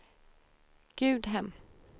Gudhem